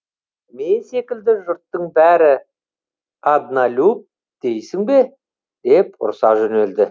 мен секілді жұрттың бәрі одналюб дейсің бе деп ұрса жөнелді